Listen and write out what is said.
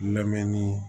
Lamɛnni ye